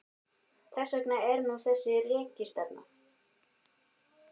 Þess vegna er nú þessi rekistefna.